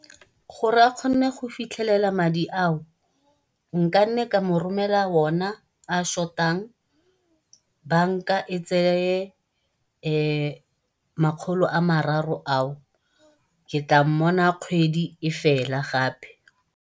Gore a kgone go fitlhelela madi a o nkanne ka mo romelela ona a a short-ang, banka e tseye makgolo a mararo a o ke tla mmona kgwedi e fela gape.